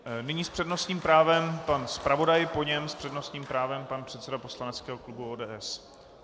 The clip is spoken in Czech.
Nyní s přednostním právem pan zpravodaj, po něm s přednostním právem pan předseda poslaneckého klubu ODS.